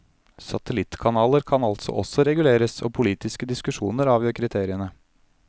Satellittkanaler kan altså også reguleres, og politiske diskusjoner avgjør kriteriene.